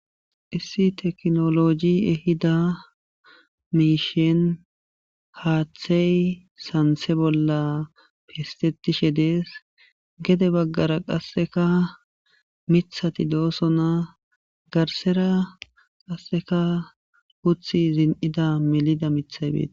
Issi tekino logi ehida mishen hatheye santhe bolla pistetishe dese gede bagara qasekka mithati doson garsera qaseka mithi dese